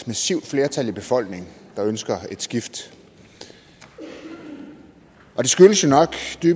massivt flertal i befolkningen der ønsker et skift og